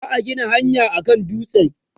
za'a Gina hanyaa kan dutsen